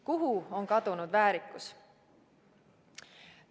Kuhu on kadunud väärikus?